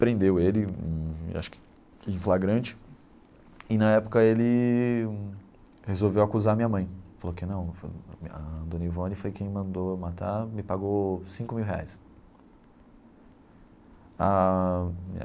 prendeu ele, acho que em flagrante, e na época ele resolveu acusar a minha mãe, falou que não foi, a Dona Ivone foi quem mandou matar, me pagou cinco mil reais ah.